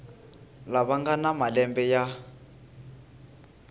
lava nga na malembe ya